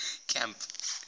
camp